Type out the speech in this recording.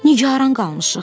Nigaran qalmışıq.